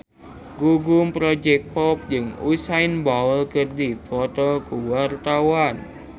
Gugum Project Pop jeung Usain Bolt keur dipoto ku wartawan